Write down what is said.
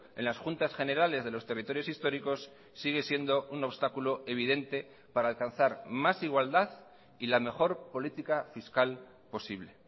en las juntas generales de los territorios históricos sigue siendo un obstáculo evidente para alcanzar más igualdad y la mejor política fiscal posible